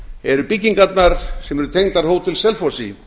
eru byggingarnar sem eru tengdar hótel selfossi